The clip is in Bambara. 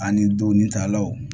Ani doni talaw